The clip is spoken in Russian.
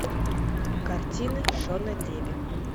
картины шона леви